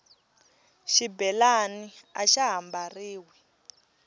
xibelani axa ha mbariwi